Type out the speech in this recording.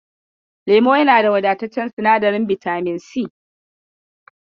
Lemu yana da wadataccen sinadarin bitamin si.